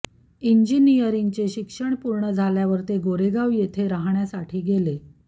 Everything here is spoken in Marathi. इंजिनियरचे शिक्षण पूर्ण झाल्यावर ते गोरेगाव येथे राहण्यासाठी गेले